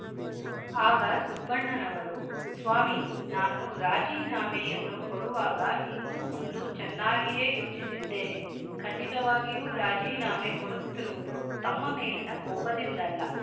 ಆಗ ಸುಬ್ಬಣ್ಣನವರು ಸ್ವಾಮಿ ನಾನು ರಾಜೀನಾಮೆಯನ್ನು ಕೊಡುವಾಗ ಹಿಂದು ಮುಂದು ಚೆನ್ನಾಗಿಯೇ ಯೋಚಿಸಿದ್ದೇನೆ ಖಂಡಿತವಾಗಿಯೂ ರಾಜೀನಾಮೆ ಕೊಡುತ್ತಿರುವುದು ತಮ್ಮ ಮೇಲಿನ ಕೊಪದಿಂದಲ್ಲ